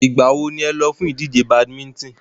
Ìgbà wo ni ẹ lọ fún ìdíje badminton?